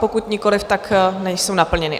Pokud nikoliv, tak nejsou naplněny.